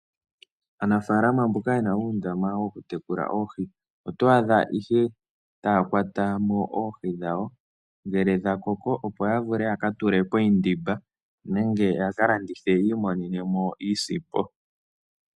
Aanafaalama ye na uundama woku tekula oohi, oto adha ihe taa kwata mo oohii dhawo ngele dha koko, opo ya vule yaka tule poindimba, nenge yi imonene iisimpo.